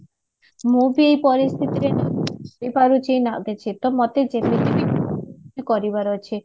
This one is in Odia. ମୁଁ ବି ଏଇ ପରିସ୍ଥିତିରେ ମତେ ଯେମିତି ବି ହୋଉ କରିବାର ଅଛି